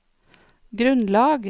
grunnlag